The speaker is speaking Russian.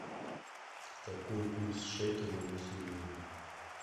какой курс шекеля на сегодня